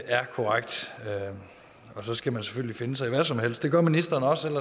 er korrekt og så skal man selvfølgelig finde sig i hvad som helst det gør ministeren også